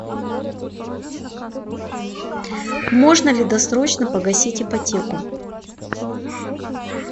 можно ли досрочно погасить ипотеку